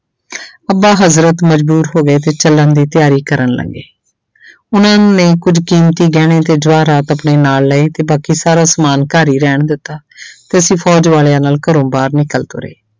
ਅੱਬਾ ਹਜ਼ਰਤ ਮਜ਼ਬੂਰ ਹੋ ਗਏ ਤੇ ਚੱਲਣ ਦੀ ਤਿਆਰੀ ਕਰਨ ਲੱਗ ਗਏ ਉਹਨਾਂ ਨੇ ਕੁੱਝ ਕੀਮਤੀ ਗਹਿਣੇ ਤੇ ਜਵਾਹਰਾਤ ਆਪਣੇ ਨਾਲ ਲਏ ਤੇ ਬਾਕੀ ਸਾਰਾ ਸਮਾਨ ਘਰ ਹੀ ਰਹਿਣ ਦਿੱਤਾ ਤੇ ਅਸੀਂ ਫ਼ੌਜ਼ ਵਾਲਿਆਂ ਨਾਲ ਘਰੋਂ ਬਾਹਰ ਨਿਕਲ ਤੁਰੇੇ।